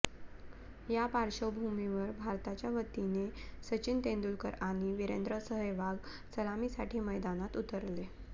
या पार्श्वभूमिवर भारताच्या वतीने सचिन तेंडुलकर आणि विरेंद्र सेहवाग सलामीसाठी मैदानात उतरले